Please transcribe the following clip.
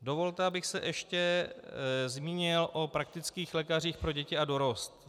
Dovolte, abych se ještě zmínil o praktických lékařích pro děti a dorost.